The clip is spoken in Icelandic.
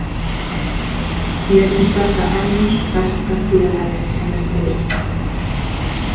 Mér finnst þetta enn besta félagið sem er til.